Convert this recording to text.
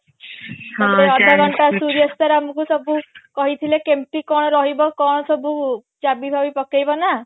ତାପରେ ଅଧ ଘଣ୍ଟା ସୂର୍ଯା sir ଆମକୁ କହିଥିଲେ କେମତି କଣ ରହିବ କଣ ସବୁ ଚାବି ବାବି ପକେଇବ ନା